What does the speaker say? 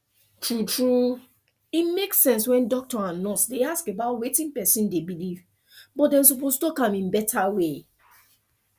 true true e make sense when doctor and nurse dey ask about wetin person dey believe but dem suppose talk am in better way